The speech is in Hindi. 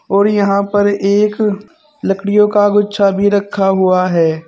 और यहां पर एक लकड़ियों का गुच्छा भी रखा हुआ है।